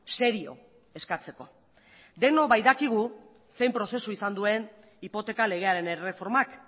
serio eskatzeko denok baitakigu zein prozesu izan duen hipoteka legearen erreformak